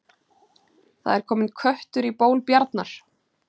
Það er kominn köttur í ból bjarnar